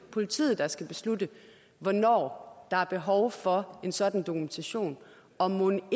politiet der skal beslutte hvornår der er behov for en sådan dokumentation og mon